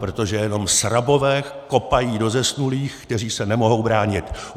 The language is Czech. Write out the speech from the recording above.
Protože jenom srabové kopají do zesnulých, kteří se nemohou bránit!